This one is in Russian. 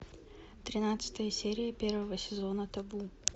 тринадцатая серия первого сезона табу